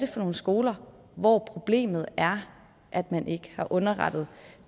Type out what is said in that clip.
for nogle skoler hvor problemet er at man ikke har underrettet